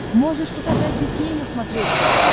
можешь показать дисней на смотрешке